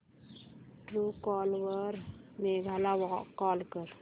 Truecaller वर मेघा ला call कर